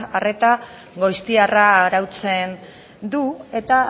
arreta goiztiarra arautzen du eta